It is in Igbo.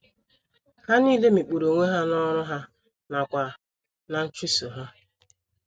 Ha nile mikpuru onwe ha n’ọrụ ha nakwa ná nchụso ha.